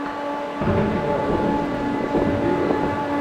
вруби киноработу в стилистике супергероев